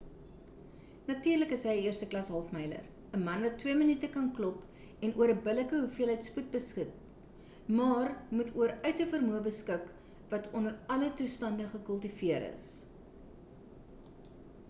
natuurlik is hy 'n eersteklas half-myler 'n man wat twee minute kan klop en oor 'n billike hoeveelheid spoed beskik maar moet oor uithouvermoë beskik wat onder alle toestande gekultiveer is